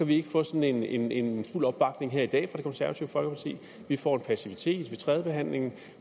vi ikke få sådan en en fuld opbakning her i dag fra det konservative folkeparti vi får en passivitet ved tredjebehandlingen